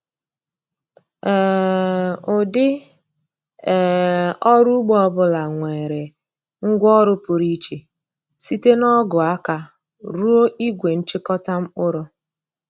um Ụdị um ọrụ ugbo ọ bụla nwere ngwaọrụ pụrụ iche, site na ọgụ aka ruo igwe nchịkọta mkpụrụ.